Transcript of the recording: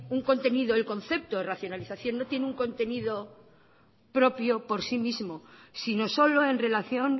un contenido el concepto de racionalización no tiene un contenido propio por sí mismo sino solo en relación